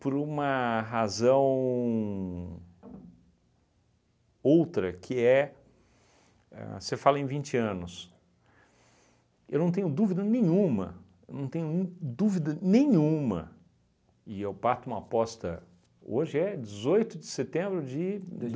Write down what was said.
por uma razão outra que é, ahn você fala em vinte anos, eu não tenho dúvida nenhuma, eu não tenho dúvida nenhuma e eu parto uma aposta hoje é dezoito de setembro de dois